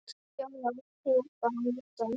Já, já, hún var bara að nota hann.